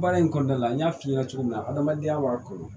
Baara in kɔnɔna la an y'a f'i ɲɛna cogo min na adamadenya b'a kɔnɔ